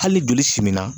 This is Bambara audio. Hali joli simina